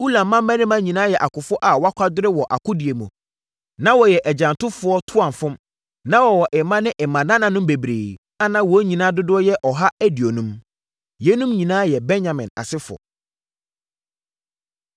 Ulam mmammarima nyinaa yɛ akofoɔ a wɔakwadare wɔ akodie mu, na wɔyɛ agyantofoɔ toamfom. Na wɔwɔ mma ne mmanananom bebree a na wɔn nyinaa dodoɔ yɛ ɔha aduonum. Yeinom nyinaa yɛ Benyamin asefoɔ.